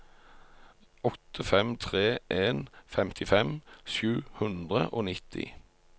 åtte fem tre en femtifem sju hundre og nitti